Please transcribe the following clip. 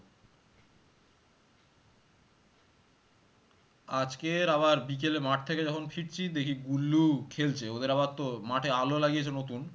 আজকের আবার বিকেলে মাঠ থেকে যখন ফিরছি দেখি গুল্লু খেলছে ওদের আবার তো মাঠে আলো লাগিয়েছে নতুন